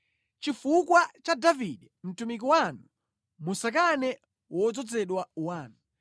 Chifukwa cha Davide mtumiki wanu, musakane wodzozedwa wanu.